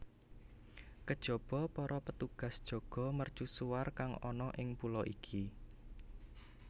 Kejaba para petugas jaga mercusuar kang ana ing pulo iki